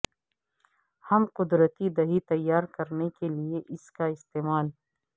ہم قدرتی دہی تیار کرنے کے لئے اس کا استعمال